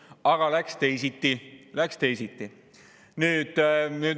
Aga läks teisiti, läks teisiti.